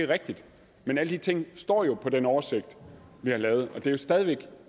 er rigtigt men alle de ting står jo på den oversigt vi har lavet og det er stadig væk